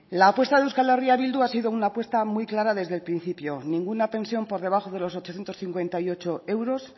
la apuesta de euskal herria bildu ha sido una apuesta muy clara desde el principio ninguna pensión por debajo de los ochocientos cincuenta y ocho euros